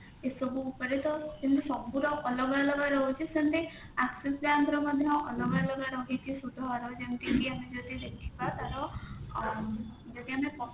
ଏ ସବୁ ଉପରେ ତ ସେମିତି ସବୁ ର ଅଲଗା ଅଲଗା ରହୁଛି ସେମିତି axis bank ର ମଧ୍ୟ ଅଲଗା ଅଲଗା ରହିଛି ସୁଧହାର ଯେମିତି ଆମେ ଯଦି ଦେଖିବା ତାର ଯଦି ଆମେ